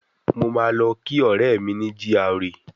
Mo máa lọ kí ọ̀rẹ́ mi ní GRA